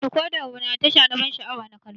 Decoda namu na da tasha na ban sha'awa na kallo.